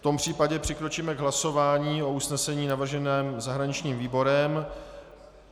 V tom případě přikročíme k hlasování o usnesení navrženém zahraničním výborem.